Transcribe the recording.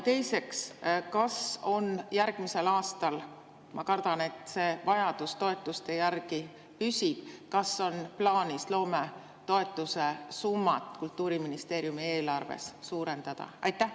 Teiseks, kas on järgmisel aastal – ma kardan, et see vajadus toetuste järele püsib – plaanis loometoetuse summat Kultuuriministeeriumi eelarves suurendada?